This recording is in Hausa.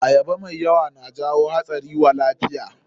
Ayaba mai yawa na jawo hatsari wa lafiya.